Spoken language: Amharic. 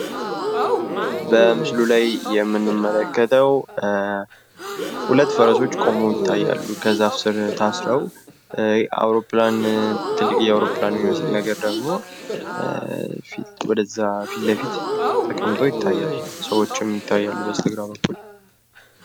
በምስሉ ላይ የምንመለከተው ሁለት ፈረሶች ቆመው ይታያሉ ከዛፍ ስር ታስረው ፤ አውሮፕላን የሚመስል ነገር ደግሞ ወደዛ ፊትለፊት ተቀምጦ ይትያል ፤ ሰዎችም ይታያሉ በስተግራ በኩል።